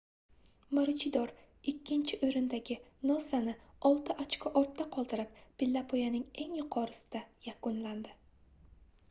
maruchidor ikkinchi oʻrindagi nosani olti ochko ortda qoldirib pillapoyaning eng yuqorisida yakunladi